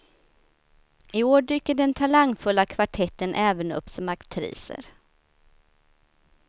I år dyker den talangfulla kvartetten även upp som aktriser.